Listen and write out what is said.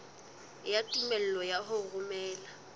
ya tumello ya ho romela